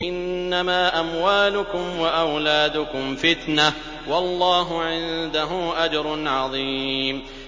إِنَّمَا أَمْوَالُكُمْ وَأَوْلَادُكُمْ فِتْنَةٌ ۚ وَاللَّهُ عِندَهُ أَجْرٌ عَظِيمٌ